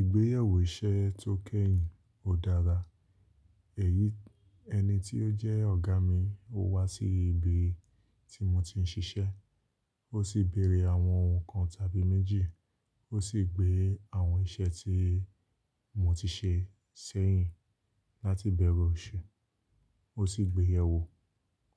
Ìgbéyẹ̀wò iṣẹ́ tó kẹ́yìn ó dára. Èyí ẹni tí ó jẹ́ ọ̀gá mi, o wá sí ibi tí mo ti ń ṣiṣẹ́, ó sì béèrè àwọn ohun kan tàbí méjì, ó sì gbé àwọn iṣẹ́ tí mo ti ṣe sẹ́yìn láti bẹ̀rù ọ̀ṣẹ. Ó sì gbéyẹ̀ wò,